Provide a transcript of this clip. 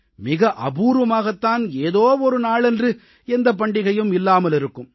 மிக அபூர்வமாகத் தான் ஏதோ ஒரு நாளன்று எந்தப் பண்டிகையும் இல்லாமல் இருக்கும்